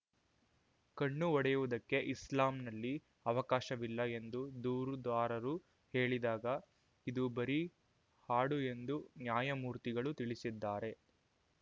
ಕಣ್ಣು ಹೊಡೆಯುವುದಕ್ಕೆ ಇಸ್ಲಾಂನಲ್ಲಿ ಅವಕಾಶವಿಲ್ಲ ಎಂದು ದೂರುದಾರರು ಹೇಳಿದಾಗ ಇದು ಬರೀ ಹಾಡು ಎಂದು ನ್ಯಾಯಮೂರ್ತಿಗಳು ತಿಳಿಸಿದ್ದಾರೆ